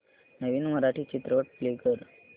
नवीन मराठी चित्रपट प्ले कर